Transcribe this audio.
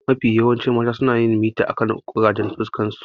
Mafi yawan mata suna mita akan ƙurajen fuskarsu.